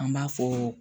An b'a fɔ